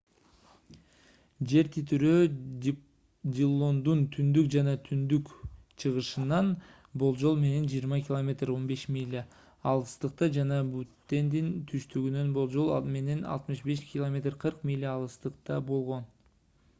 жер титирөө диллондун түндүк жана түндүк-чыгышынан болжол менен 20 км. 15 миля алыстыкта жана буттендин түштүгүнөн болжол менен 65 км. 40 миля алыстыкта болгон